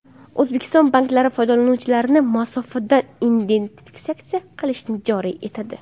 O‘zbekiston banklari foydalanuvchilarni masofadan identifikatsiya qilishni joriy etadi.